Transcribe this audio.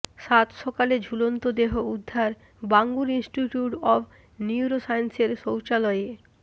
সাতসকালে ঝুলন্ত দেহ উদ্ধার বাঙুর ইনস্টিটিউট অব নিউরোসায়েন্সের শৌচালয়ে